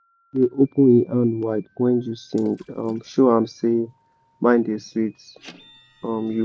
the soil dey open im hand wide when you sing um show am say mind da sweet um you